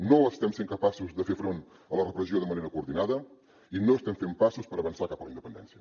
no estem sent capaços de fer front a la repressió de manera coordinada i no estem fent passos per avançar cap a la independència